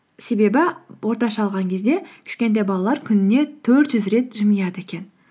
себебі орташа алған кезде кішкентай балалар күніне төрт жүз рет жымияды екен